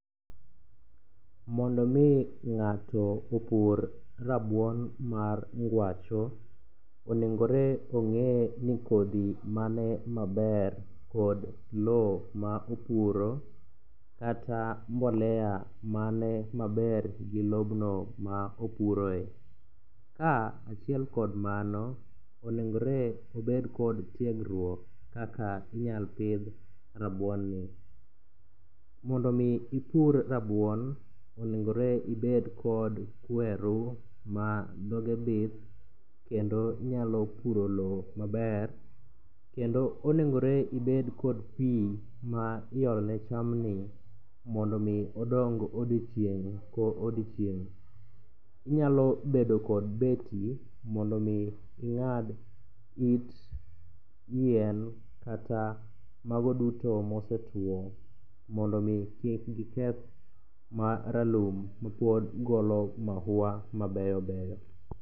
Mondo omi ng'ato opur rabuon mar ngwacho, onengore ong'e ni kodhi mane maber kod lowo ma opuro, kata mbolea mane maber gi lobno ma opuroe. Ka achiel kod mano, onengore obed kod tiegruok kaka inyalo pidh rabuonni. Mondo omi ipur rabuon, onengore ibed kod kweru ma dhoge bith kendo nyalo puro lowo maber, kendo onegore ibed kod pi ma iole chamni mondo omi odong odiochieng' kodiochieng'. Inyalo bedo kod beti mondo omi iyadh it yien kata mago duto mosekiewo mondo omi kik giketh ma ralum ma pod golo mahuwa mabeyo beyo.